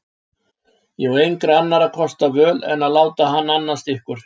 Ég á engra annarra kosta völ en að láta hann annast ykkur.